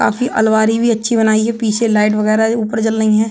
काफी अलमारी भी अच्छी बनाई है। पीछे लाइट वगैरह ऊपर जल रही हैं।